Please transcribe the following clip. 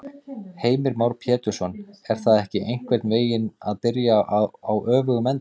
Heimir Már Pétursson: En er það ekki einhvern veginn að byrja á öfugum enda?